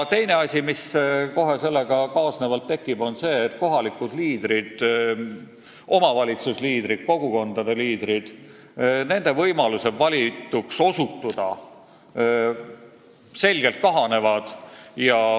Teine asi, mis sellega kaasnevalt tekib, on see, et kohalike liidrite, omavalitsusliidrite ja kogukondade liidrite võimalus valituks osutuda selgelt kahaneb.